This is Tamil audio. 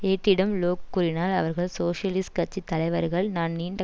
ஏட்டிடம் லோக் கூறினார் அவர்கள் சோசியலிஸ்ட் கட்சி தலைவர்கள் நான் நீண்ட